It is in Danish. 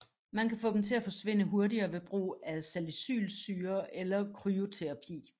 Man kan få dem til at forsvinde hurtigere ved brug af salicylsyre eller kryoterapi